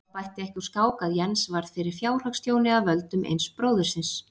Það bætti ekki úr skák að Jens varð fyrir fjárhagstjóni af völdum eins bróðurins.